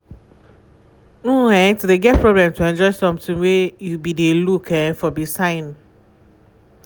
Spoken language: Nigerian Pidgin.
[um][um]to de get problem to enjoy something wey you be de look um for be sign.